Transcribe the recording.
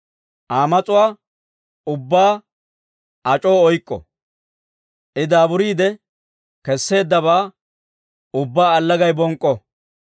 Aa mas'uwaa ubbaa ac'oo oyk'k'o; I daaburiide kesseeddabaa ubbaa allagay bonk'k'o!